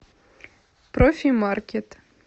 профи маркет